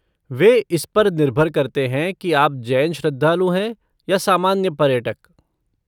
वे इस पर निर्भर करते हैं कि आप जैन श्रद्धालु हैं या सामान्य पर्यटक।